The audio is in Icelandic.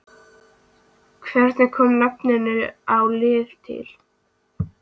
Hvernig kom nafninu á liðinu til?